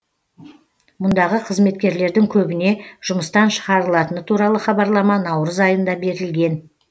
мұндағы қызметкерлердің көбіне жұмыстан шығарылатыны туралы хабарлама наурыз айында берілген